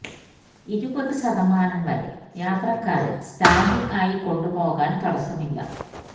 ഇരുപതു ശതമാനം വരെ യാത്രക്കാരെ സ്റ്റാന്റിങ് ആയി കൊണ്ടു പോകാൻ തടസ്സമില്ല